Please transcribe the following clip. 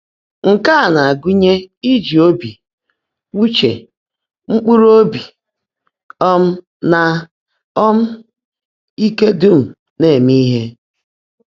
Nkè á ná-ágụ́nyè íjí óbí, úche, mkpụ́rụ́ óbí, um nà um íke dúm ná-èmé íhe.